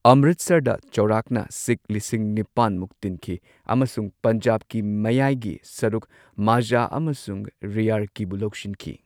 ꯑꯃ꯭ꯔ꯭ꯤꯠꯁꯔꯗ ꯆꯥꯎꯔꯥꯛꯅ ꯁꯤꯈ ꯂꯤꯁꯤꯡ ꯅꯤꯄꯥꯟ ꯃꯨꯛ ꯇꯤꯟꯈꯤ ꯑꯃꯁꯨꯡ ꯄꯟꯖꯥꯕꯀꯤ ꯃꯌꯥꯏꯒꯤ ꯁꯔꯨꯛ ꯃꯥꯓꯥ ꯑꯃꯁꯨꯡ ꯔꯤꯌꯥꯔꯀꯤꯕꯨ ꯂꯧꯁꯤꯟꯈꯤ꯫